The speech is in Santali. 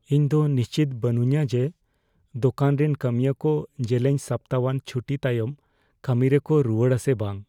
ᱤᱧᱫᱚ ᱱᱤᱥᱪᱤᱛ ᱵᱟᱹᱱᱩᱧᱟ ᱡᱮ ᱫᱳᱠᱟᱱ ᱨᱮᱱ ᱠᱟᱹᱢᱤᱭᱟᱹ ᱠᱚ ᱡᱮᱞᱮᱧ ᱦᱟᱯᱛᱟᱣᱟᱱ ᱪᱷᱩᱴᱤ ᱛᱟᱭᱚᱢ ᱠᱟᱹᱢᱤ ᱨᱮᱠᱚ ᱨᱩᱣᱟᱹᱲᱟ ᱥᱮ ᱵᱟᱝ ᱾